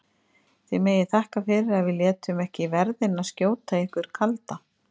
Þið megið þakka fyrir að við létum ekki verðina skjóta ykkur kalda!